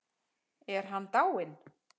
Er hann dáinn?